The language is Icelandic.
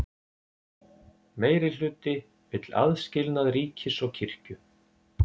Meirihluti vill aðskilnað ríkis og kirkju